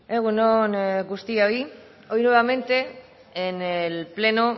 egun on guztioi hoy nuevamente en el pleno